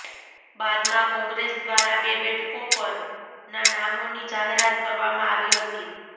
બાદમાં કોંગ્રેસ દ્વારા બે બેઠકો પરના નામોની જાહેરાત કરવામાં આવી હતી